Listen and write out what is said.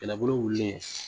Kɛlɛbolo wulilen